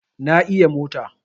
Na iya mota